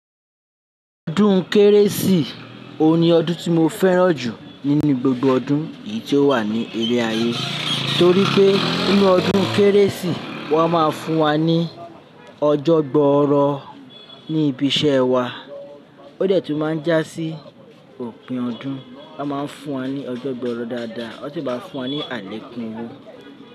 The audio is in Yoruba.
Ọdún kérésì o ni ọdún tí mo fẹ́ràn jù nínú gbogbo ọdún yìí tí ó wà ní eré ayé. Torí pé nínú ọdún kérésì wón máa ń fún wa ní ọjọ́ gboọ́rọ̀ ní ibi iṣẹ́ wa. Ó dẹ̀ tún máa ń jásí òpin ọdún wón máa ń fún wa ní ọjọ́ gbọ́orọ̀ dáadáa. Wón sì máa ń fún wa ní alekun owó.